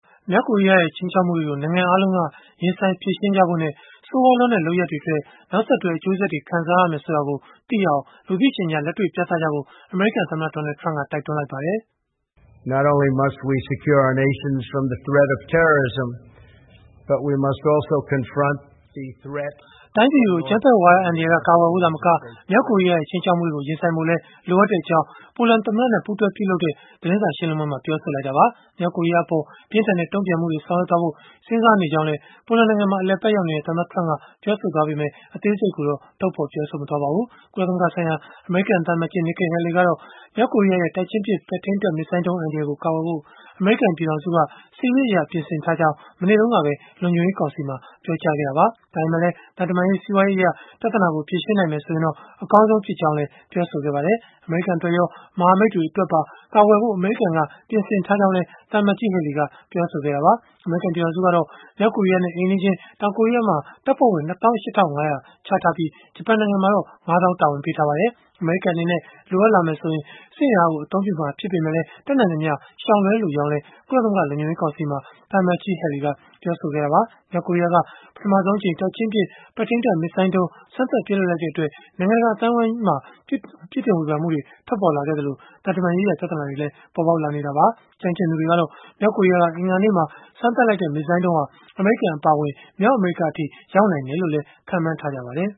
မြောက်ကိုရီးယားရဲ့ ခြိမ်းခြောက်မှုတွေကို နိုင်ငံအားလုံးက ရင်ဆိုင်ဖြေရှင်းကြဖို့နဲ့ ဆိုးရွားလွန်းတဲ့ လုပ်ရပ်အတွက် နောက်ဆက်တွဲ အကျိုးဆက်တွေ ခံစားရမယ် ဆိုတာကိုသိအောင် လူသိရှင်ကြား လက်တွေ့ပြသကြဖို့ အမေရိကန်သမ္မတ Donald Trump က တိုက်တွန်းလိုက်ပါတယ်။ တိုင်းပြည်တွေကို အကြမ်းဖက်ဝါဒအန္တရာယ်က ကာကွယ်ဖို့ သာမက၊ မြောက်ကိုရီးယားရဲ့ ခြိမ်းခြောက်မှုတွေကို ရင်ဆိုင်ဖို့လည်း လိုအပ်တဲ့အကြောင်း ပိုလန်သမ္မတနဲ့ ပူးတွဲပြုလုပ်တဲ့ သတင်းစာရှင်းလင်းပွဲမှာ ပြောဆိုခဲ့တာပါ။ မြောက်ကိုရီးယားအပေါ် ပြင်းထန်တဲ့ တုံ့ပြန်မှုတွေ ဆောင်ရွက်သွားဖို့ စဉ်းစားနေကြောင်းလည်း ပိုလန်နိုင်ငံမှာ အလည်အပတ် ရောက်နေတဲ့ သမ္မတ Trump က ပြောဆိုခဲ့ပေမဲ့၊ အသေးစိတ်ကိုတော့ ထုတ်ဖော် ပြောဆိုမသွားပါဘူး။ ကုလသမဂ္ဂဆိုင်ရာ အမေရိကန်သံအမတ်ကြီး Nikki Haley ကတော့ မြောက်ကိုရီးယားရဲ့ တိုက်ချင်းပစ် ပဲ့ထိန်းတပ် မစ်ဇိုင်းဒုံး အန္တရာယ်ကို ကာကွယ်ဖို့ အမေရိကန် ပြည်ထောင်စုက စစ်ရေးအရ ပြင်ဆင်ထားကြောင်း မနေ့တုန်းကပဲ လုံခြုံရေးကောင်စီမှာ ပြောကြားခဲ့တာပါ။ ဒါပေမဲ့လည်း သံတမန်ရေး၊ စီးပွားရေးအရ ပြဿနာကို ဖြေရှင်းနိုင်မယ် ဆိုရင်တော့ အကောင်းဆုံးဖြစ်ကြောင်းလည်း ပြောဆိုခဲ့ပါတယ်။ အမေရိကန် အတွက်ရော မဟာမိတ်တွေ အတွက်ပါ ကာကွယ်ဖို့ အမေရိကန်က ပြင်ဆင်ထားကြောင်းလည်း သံအမတ်ကြီး Haley က ပြောဆိုခဲ့တာပါ။ အမေရိကန် ပြည်ထောင်စုကတော့ မြောက်ကိုရီးယားနဲ့ အိမ်နီးချင်း တောင်ကိုရီးယားမှာ တပ်ဖွဲ့ဝင် ၂၈၅၀၀ ချထားပြီး၊ ဂျပန်နိုင်ငံမှာ ၅ သောင်း တာဝန်ပေးထားပါတယ်။ အမေရိကန် အနေနဲ့ လိုအပ်လာမယ်ဆိုရင် စစ်အင်အားကို အသုံးပြုမှာ ဖြစ်ပေမဲ့လည်း တတ်နိုင်သမျှ ရှောင်လွဲလိုကြောင်းလည်း ကုလသမဂ္ဂ လုံခြုံရေးကောင်စီမှာ သံအမတ်ကြီး Haley က ပြောဆိုခဲ့တာပါ။ မြောက်ကိုရီးယားက ပထမဆုံးအကြိမ် တိုက်ချင်းပစ် ပဲ့ထိန်းတပ် မစ်ဇိုင်းဒုံး စမ်းသပ် ပစ်လွှတ်လိုက်တဲ့အတွက် နိုင်ငံတကာ အသိုင်းအဝန်းက ပြစ်တင်ဝေဖန်မှုတွေ ထွက်ပေါ်လာခဲ့သလို၊ သံတမန်ရေးရာ ပြဿနာတွေလည်း ပေါ်ပေါက်လာနေတာပါ။ ကျွမ်းကျင်သူတွေကတော့ မြောက်ကိုရီးယားက အင်္ဂါနေ့မှာ စမ်းသပ်လိုက်တဲ့ မစ်ဇိုင်းဒုံးဟာ အမေရိကန် အပါအဝင် မြောက်အမေရိကအထိ ရောက်နိုင်တယ်လို့လည်း ခန့်မှန်းထားကြပါတယ်